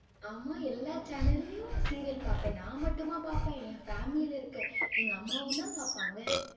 ஆமா, எல்லா channel லையும் serial பாப்பேன், நான் மட்டுமா பாப்பேன், என் family ல இருக்க, எங்க அம்மாவும்தான் பாப்பாங்க.